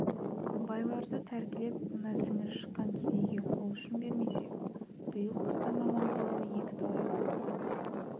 байларды тәркілеп мына сіңірі шыққан кедейге қол ұшын бермесе биыл қыстан аман қалуы екіталай